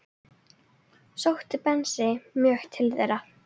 Sótti Bensi mjög til þeirra.